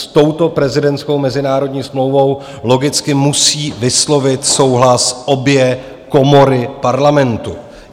S touto prezidentskou mezinárodní smlouvou logicky musí vyslovit souhlas obě komory Parlamentu.